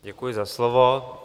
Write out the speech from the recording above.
Děkuji za slovo.